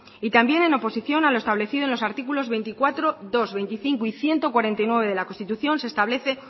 y también en oposición a lo establecido en los artículos veinticuatro punto dos veinticinco y ciento cuarenta y nueve de la constitución se establece